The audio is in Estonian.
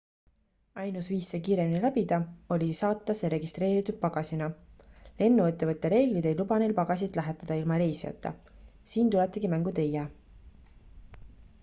ainus viis see kiiremini läbida oli saata see registreeritud pagasina lennuettevõtte reeglid ei luba neil pagasit lähetada ilma reisijata siin tuletegi mängu teie